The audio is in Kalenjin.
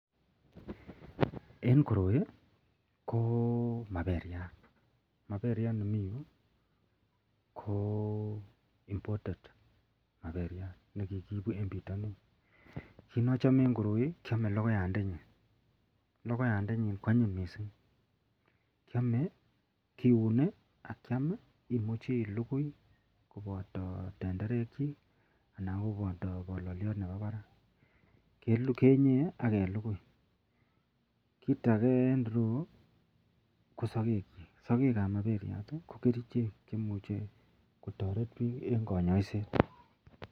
En koroi ko maberiat maberiat nemii Yu ko imported nekikiibu en bitanin kit neachome en koroi kiame logoiyat ndenyin logoiyat ndanyin kwanyin mising kiame kiune akiam imuche iligui kobata tenderek chik anan kobata balaliot Nebo Barak kenyee agelugui kit age en ireyu ko sagek chik sagek chik ko kerchek cheimuche kotaret bik en kanyaiset